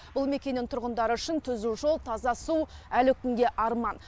бұл мекеннің тұрғындары үшін түзу жол таза су әлі күнге арман